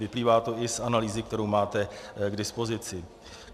Vyplývá to i z analýzy, kterou máte k dispozici.